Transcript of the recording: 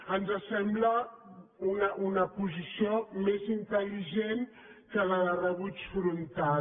ens sembla una posició més intel·ligent que la de rebuig frontal